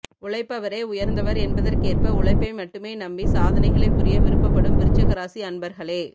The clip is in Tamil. உழைப்பவரே உயர்ந்தவர் என்பதற்கேற்ப உழைப்பை மட்டுமே நம்பி சாதனைகளை புரிய விருப்பப்படும் விருச்சிக ராசி அன்பர்களே